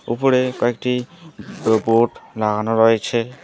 ওপরে কয়েকটি বো বোর্ড লাগানো রয়েছে।